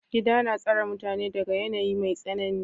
Gida na tsare mutane daga yanayin mai tsanani.